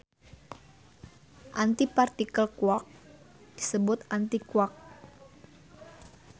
Antipartikel quark disebut antiquark.